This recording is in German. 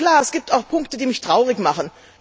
Klar, es gibt auch Punkte, die mich traurig machen!